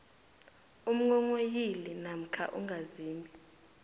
umnghonghoyili namkha ungazimbi